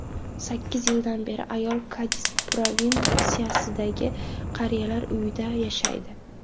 Sakkiz yildan beri ayol Kadis provinsiyasidagi qariyalar uyida yashaydi.